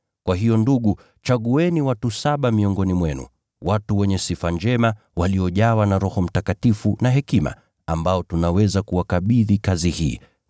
Kwa hiyo ndugu, chagueni watu saba miongoni mwenu, watu wenye sifa njema, waliojawa na Roho Mtakatifu na hekima, ambao tunaweza kuwakabidhi kazi hii,